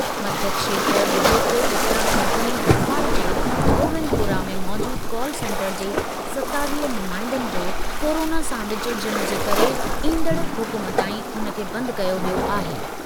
मध्यक्षेत्र विद्युत वितरण कंपनी भोपाल जे गोविंदपुरा में मौजूदु कॉल सेंटर जे सतावीह नुमाईंदनि जो कोरोना सां विचुड़जणु जे करे ईंदड़ हुकुम ताईं उन खे बंदि कयो वियो आहे।